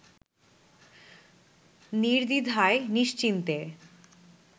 নির্দ্বিধায় নিশ্চিন্তে